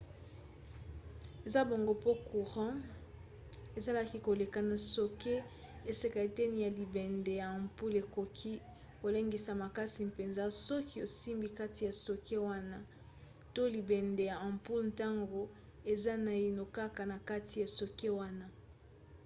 eza bongo po courant ezalaki koleka na socket esika eteni ya libende ya ampoule ekoki kolengisa makasi mpenza soki osimbi kati ya socket wana to libende ya ampoule ntango eza naino kaka na kati ya socket wana